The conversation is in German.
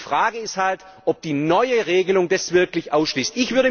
Und die Frage ist halt, ob die neue Regelung das wirklich ausschließt.